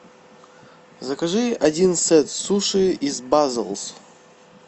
закажи один сет суши из базоулс